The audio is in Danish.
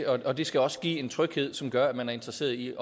og det skal også give en tryghed som gør at man er interesseret i